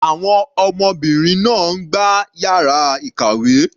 Àwọn ọmọbìnrin náà ń gbá yàrá ìkàwé.